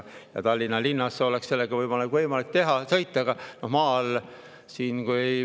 Tallinna linnas oleks sellega võimalik sõita, aga maal.